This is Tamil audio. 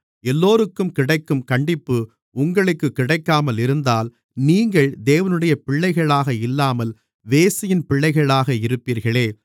எல்லோருக்கும் கிடைக்கும் கண்டிப்பு உங்களுக்குக் கிடைக்காமல் இருந்தால் நீங்கள் தேவனுடைய பிள்ளைகளாக இல்லாமல் வேசியின் பிள்ளைகளாக இருப்பீர்களே